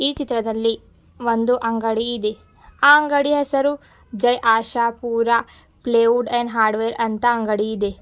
ಈ ಚಿತ್ರದಲ್ಲಿ ಒಂದು ಅಂಡಗಿ ಇದೆ ಆ ಅಂಡಗಿ ಹೆಸರು Jai Ashapura plywood and hardware ಅಂತ ಅಂಗಡಿ ಇದೆ.